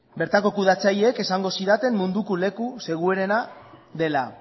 bertako kudeatzaileek esango zidaten munduko leku seguruena dela